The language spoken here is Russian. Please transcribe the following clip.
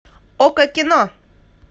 окко кино